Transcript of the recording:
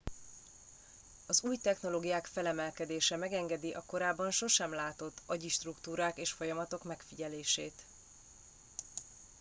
az új technológiák felemelkedése megengedi a korábban sosem látott agyi struktúrák és folyamatok megfigyelését